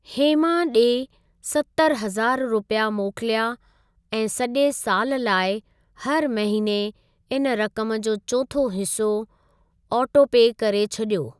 हेमा ॾे सतर हज़ार रुपिया मोकिलिया ऐं सॼे साल लाइ हर महिने इन रक़म जो चोथों हिसो ऑटोपे करे छॾियो।